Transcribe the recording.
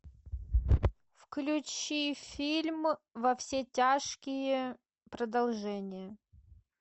включи фильм во все тяжкие продолжение